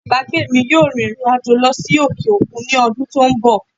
Alábàágbé mi yóò rìnrìn àjò lọ sí òkè òkun ní ọdún tó ń bọ̀